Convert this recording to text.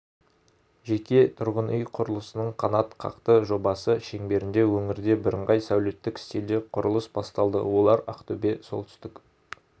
жеке тұрғын үй құрылысының қанатқақты жобасы шеңберінде өңірде бірыңғай сәулеттік стильде құрылыс басталды олар ақтөбе солтүстік